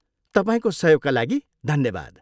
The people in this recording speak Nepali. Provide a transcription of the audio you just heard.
तपाईँको सहयोगका लागि धन्यवाद।